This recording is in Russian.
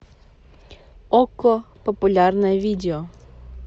окко популярное видео